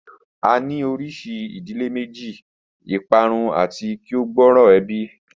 A ni orisi idile meji, iparun ati ki o gbooro ebi